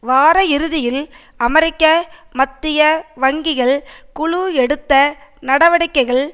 வார இறுதியில் அமெரிக்க மத்திய வங்கிகள் குழு எடுத்த நடவடிக்கைகள்